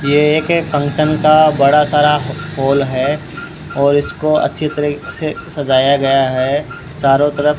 ये एक फंक्शन का बड़ा सारा पोल है और इसको अच्छी तरीके से सजाया गया है चारों तरफ --